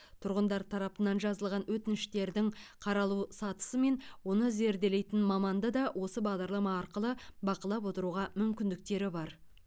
тұрғындар тарапынан жазылған өтініштердің қаралу сатысы мен оны зерделейтін маманды да осы бағдарлама арқылы бақылап отыруға мүмкіндіктері бар